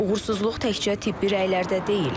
Uğursuzluq təkcə tibbi rəylərdə deyil.